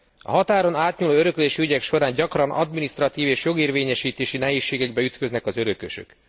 A határon átnyúló öröklési ügyek során gyakran adminisztratív és jogérvényesítési nehézségekbe ütköznek az örökösök.